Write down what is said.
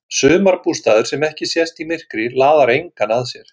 Sumarbústaður sem ekki sést í myrkri laðar engan að sér.